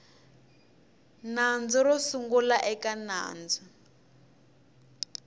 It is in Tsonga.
nandzu ro sungula eka nandzu